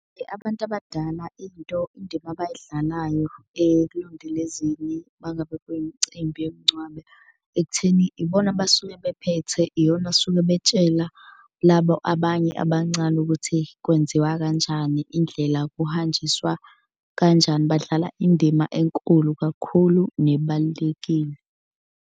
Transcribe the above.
Abantu abadala into indima abayidlalayo ekulondolezeni uma ngabe kwiyimicimbi yomngcwabo ekutheni ibona abasuke bephethe. Iyona asuke betshela labo abanye abancane ukuthi kwenziwa kanjani, indlela kuhanjiswa kanjani. Badlala indima enkulu kakhulu nebalulekile.